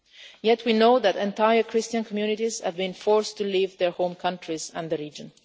Yet we know that entire Christian communities have been forced to leave their home countries and their region.